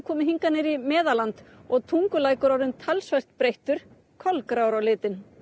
komið hingað niður í Meðalland og Tungulækur orðinn talsvert breyttur kolgrár á litinn